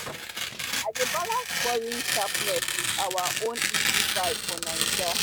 i dey balance foreign sharpness with our own easy vibe for naija